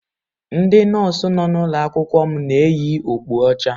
Ndị nọọsụ nọ n'ụlọ akwụkwọ m na-eyi okpu ọcha.